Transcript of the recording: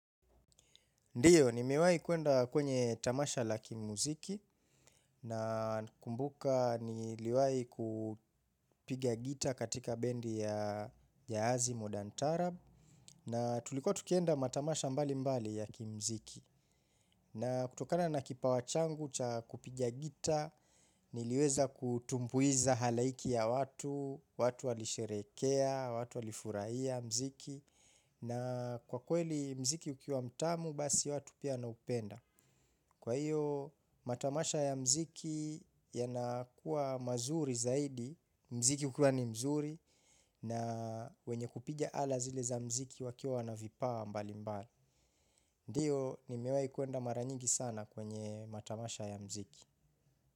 Ndiyo, nimiwahi kwenda kwenye tamasha la kimuziki na kumbuka niliwahi kupiga gitaa katika bendi ya hazi modantarab na tulikuwa tukienda matamasha mbali mbali ya kimuziki. Na kutokana na kipawa changu cha kupiga gitaa niliweza kutumbuiza halaiki ya watu, watu walisherekea, watu walifurahia mziki na kwa kweli mziki ukiwa mtamu basi watu pia na upenda. Kwa hiyo, matamasha ya mziki yanakuwa mazuri zaidi, mziki ukiwa ni mzuri na wenye kupiga ala zile za mziki wakiwa wana vipaa mbali mbali. Ndiyo, nimewahi kwenda mara nyigi sana kwenye matamasha ya mziki.